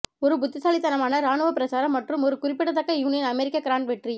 ஒரு புத்திசாலித்தனமான இராணுவ பிரச்சாரம் மற்றும் ஒரு குறிப்பிடத்தக்க யூனியன் அமெரிக்க கிராண்ட் வெற்றி